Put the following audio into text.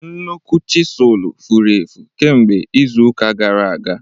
Nnukwu chisulu furu efu kemgbe izu ụka gara aga.